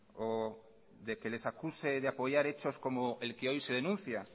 o de que les acuse de apoyar hechos como el que hoy se denuncia